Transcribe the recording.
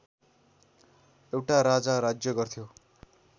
एउटा राजा राज्य गर्थ्यो